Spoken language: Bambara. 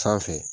Sanfɛ